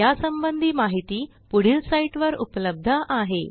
यासंबंधी माहिती पुढील साईटवर उपलब्ध आहे